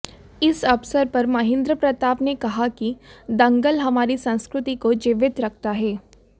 इस अवसर पर महेन्द्र प्रताप ने कहा कि दंगल हमारी संस्कृति को जीवित रखता है